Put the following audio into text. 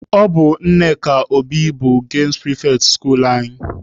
Ọ bụ Nneka Obi bụ gemụ pịrịfetị skuluu anyị.